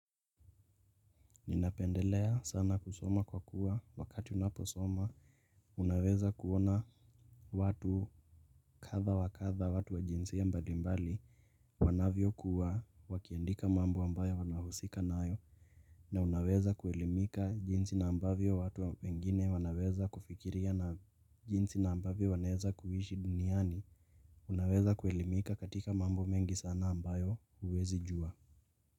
Ninapendelea sana kusoma kwa kuwa wakati unaposoma Unaweza kuona watu kadha wa kadha watu wa jinsia mbalimbali wanavyokuwa wakiandika mambo ambayo wanahusika nayo na unaweza kuelimika jinsi na ambavyo watu wengine wanaweza kufikiria na jinsi na ambavyo wanaeza kuishi duniani Unaweza kuelimika katika mambo mengi sana ambayo huwezi jua.